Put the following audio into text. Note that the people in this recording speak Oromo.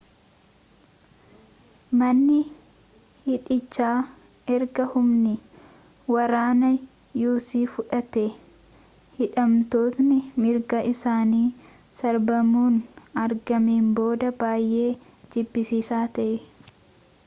manni hidhichaa ergaa humni waraanaa us fudhatee hidhaamtootni mirgii isaani sarbamuun argameen booda baayee jibbisasaa ta’e